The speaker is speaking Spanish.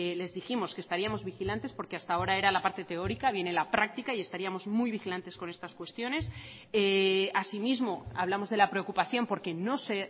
les dijimos que estaríamos vigilantes porque hasta ahora era la parte teórica viene la práctica y estaríamos muy vigilantes con estas cuestiones asimismo hablamos de la preocupación porque no se